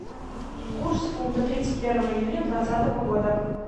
курс фунта тридцать первое июня двадцатого года